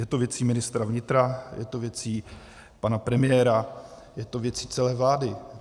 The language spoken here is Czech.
Je to věcí ministra vnitra, je to věcí pana premiéra, je to věcí celé vlády.